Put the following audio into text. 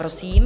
Prosím.